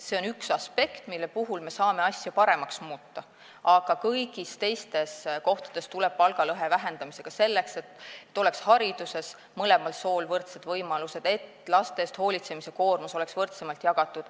See on üks aspekt, kus me saame asju paremaks muuta, aga kõigis teistes kohtades tuleb palgalõhe vähendamisega edasi tegelda, selleks et hariduses oleks mõlemal sool võrdsed võimalused ja et laste eest hoolitsemise koormus oleks võrdsemalt jagatud.